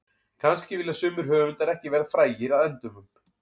Kannski vilja sumir höfundar ekki verða frægir að endemum.